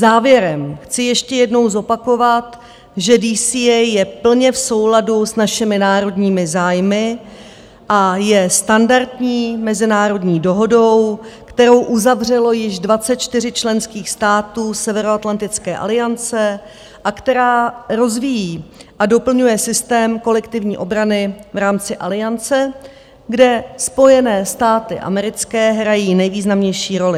Závěrem chci ještě jednou zopakovat, že DCA je plně v souladu s našimi národními zájmy a je standardní mezinárodní dohodou, kterou uzavřelo již 24 členských států Severoatlantické aliance a která rozvíjí a doplňuje systém kolektivní obrany v rámci Aliance, kde Spojené státy americké hrají nejvýznamnější roli.